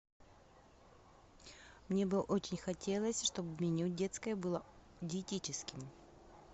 мне бы очень хотелось что бы меню детское было диетическим